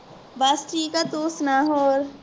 ਬੱਸ ਠੀਕ ਏ ਤੂੰ ਸੁਣਾ ਹੋਰ